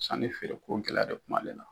Sanni feereko gɛlɛya de kun m'ale la.